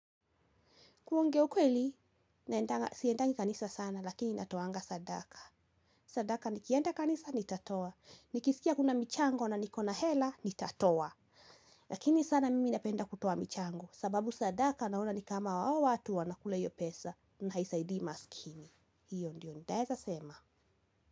Kuongea ukweli siendangi kanisa sana lakini natoanga sadaka. Sadaka nikienda kanisa, nitatoa. Nikisikia kuna michango na niko na hela, nitatoa. Lakini sana mimi napenda kutoa michango, sababu sadaka naona ni kama hao watu wana kule hiyo pesa na haisaidii maskini. Hiyo ndio ntaeza sema.